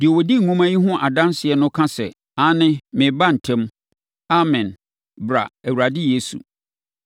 Deɛ ɔdi nwoma yi ho adanseɛ no ka sɛ, “Aane! Mereba ntɛm!” Amen. Bra, Awurade Yesu!